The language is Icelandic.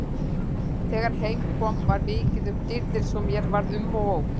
Þegar heim kom var mikið um dýrðir svo mér varð um og ó.